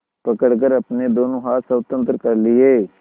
पकड़कर अपने दोनों हाथ स्वतंत्र कर लिए